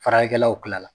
Faralikɛlaw kila la